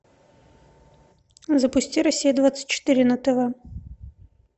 запусти россия двадцать четыре на тв